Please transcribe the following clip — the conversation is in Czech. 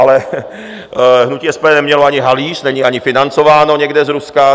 Ale hnutí SPD nemělo ani halíř, není ani financováno někde z Ruska.